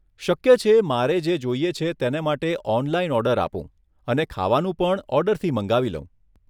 શક્ય છે મારે જે જોઈએ છે તેને માટે ઓનલાઈન ઓર્ડર આપું અને ખાવાનું પણ ઓર્ડરથી મંગાવી લઉં.